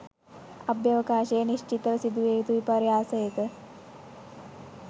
අභ්‍යවකාශයේ නිශ්චිතව සිදුවිය යුතු විපර්යාසයක